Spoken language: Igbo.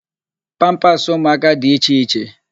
Pampasị ụmụaka dị iche iche.